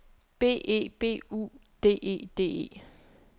B E B U D E D E